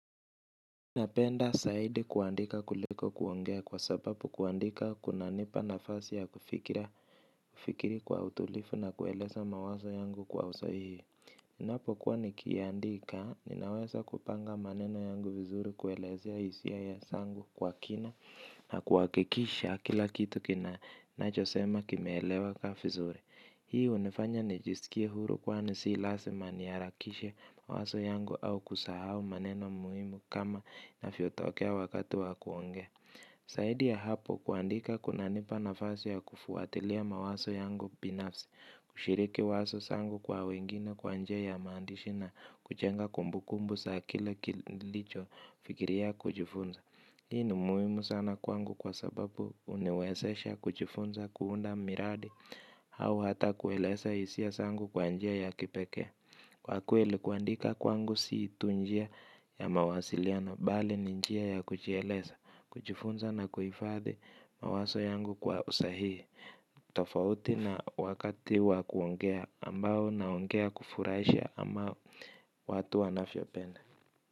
Napenda zaidi kuandika kuliko kuongea kwa sababu kuandika kuna nipa nafasi ya kufikiri kwa utulivu na kueleza mawazo yangu kwa usahihi. Ninapokuwa nikiandika, ninaweza kupanga maneno yangu vizuri kueleza hisia zangu kwa kina na kuhakikisha kila kitu kinacho sema kimeeleweka vizuri. Hii hunifanya nijisikie huru kwani si lazima niharakishe wazo yangu au kusahau maneno muhimu kama inavyotokea wakati wa kuongea. Zaidi ya hapo kuandika kunanipa nafasi ya kufuatilia mawazo yangu binafsi, kushiriki wazo zangu kwa wengine kwa njia ya maandishi na kujenga kumbukumbu za kile nilicho fikiria kujifunza. Hii ni muhimu sana kwangu kwa sababu huniwezesha kujifunza kuunda miradi au hata kueleza hisia zangu kwa njia ya kipekee. Kwa kweie kuandika kwangu si tu njia ya mawasiliano bali ni njia ya kujieleza kujifunza na kufadhi mawazo yangu kwa usahihi. Tofauti na wakati wa kuongea ambao naongea kufurasha ama watu wanavyo penda.